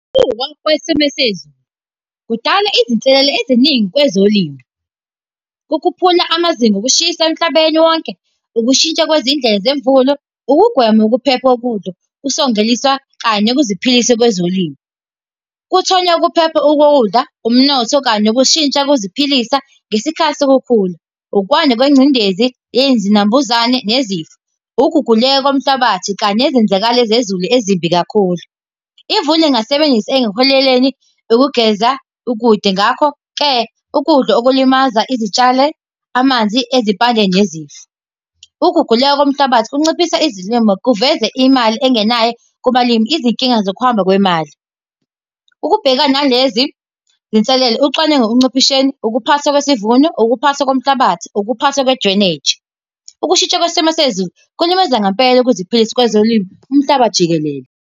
kwesimo sezulu kudala izinselele eziningi kwezolimo. Kukhuphula amazinga okushisa emhlabeni wonke, ukushintsha kwezindlela zemvula, ukugwema ukuphepha kokudla, kanye nokuziphilisa kwezolimo. Kuthonya ukuphepha kokudla, umnotho kanye nokushintsha kokuziphilisa ngesikhathi sokukhula, ukwanda kwengcindezi, izinambuzane nezifo. Ukuguguleka komhlabathi kanye nezenzakalo zezulu ezimbi kakhulu. Imvula ingasebenzisa ekuholeleni ukugeza ukude. Ngakho-ke ukudla okulimaza izitshale, amanzi ezimpandeni nezifo. Uguguleka komhlabathi kunciphisa izilimo, kuveze imali engenayo kubalimi. Izinkinga zokuhamba kwemali, ukubhekana nalezi zinselele ucwaningo ekunciphiseni, ukuphatha kwisivuno, ukuphatha komhlabathi, Ukuphatha kwe-drainage. Ukushitsha kwesimo sezulu kuwulimaza ngempela ukuziphilisa kwezolimo umhlaba jikelele.